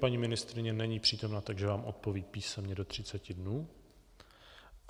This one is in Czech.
Paní ministryně není přítomna, takže vám odpoví písemně do 30 dnů.